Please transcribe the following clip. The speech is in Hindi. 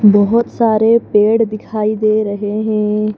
बहोत सारे पेड़ दिखाई दे रहे हैं।